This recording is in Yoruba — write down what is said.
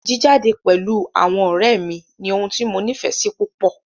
Jíjade pẹ̀lú àwọn ọ̀rẹ́ mí ní ohun tí mo nífẹsí púpọ.